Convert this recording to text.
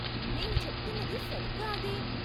నేను చెప్తున్నది సరిగ్గా అదే.